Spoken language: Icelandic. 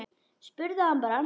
Spurðu hann bara.